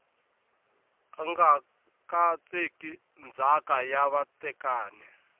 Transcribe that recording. nga katseki ndzhaka ya vatekani